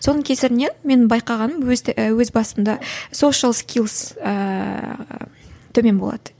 соның кесірінен менің байқағаным өз басымда сошиал скилс ыыы төмен болады